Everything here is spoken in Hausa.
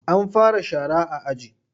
An fara shara a aji?